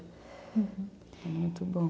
Muito bom.